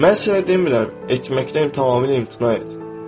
Mən sənə demirəm etməkdən tamamilə imtina et.